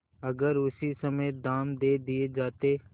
अगर उसी समय दाम दे दिये जाते